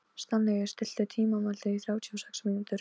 Steinlaug, stilltu tímamælinn á þrjátíu og sex mínútur.